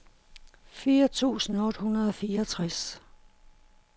fire tusind otte hundrede og fireogtres